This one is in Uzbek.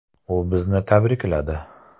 U bizni tabrikladi.